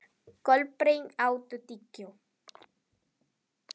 Kolbeinn, áttu tyggjó?